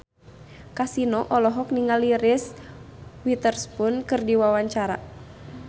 Kasino olohok ningali Reese Witherspoon keur diwawancara